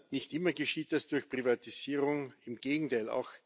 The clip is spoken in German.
Nicht immer geschieht das durch Privatisierung, im Gegenteil.